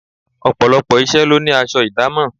Ọ̀pọ̀lọpọ̀ iṣẹ́ lo ní aṣọ idamo.